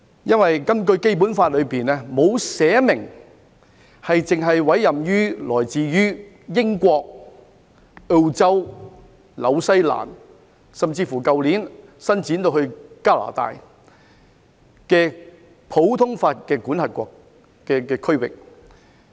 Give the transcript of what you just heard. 因為《基本法》沒有訂明只委任來自英國、澳洲、新西蘭甚至是去年伸展到加拿大的普通法系的司法管轄區。